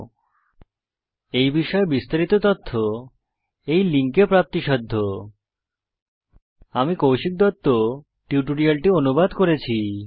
এই বিষয়ে বিস্তারিত তথ্য এই লিঙ্কে প্রাপ্তিসাধ্য spoken hyphen tutorial dot org slash NMEICT hyphen intro আমি কৌশিক দত্ত টিউটোরিয়ালটি অনুবাদ করেছি